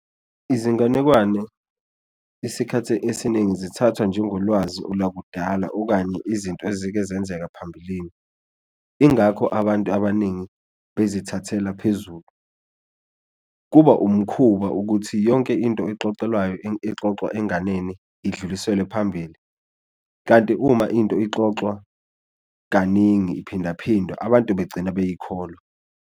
Izinganekwane isikhathi esiningi zithathwa njengolwazi olwakudala okanye izinto ezike zenzeka phambilini ingakho abantu abaningi bezithathela phezulu, kuba umkhuba ukuthi yonke into exoxwelayo exoxwa enganeni idluliselwe phambili. Kanti uma into ixoxwa kaningi iphindaphindwa abantu begcina beyikholwa.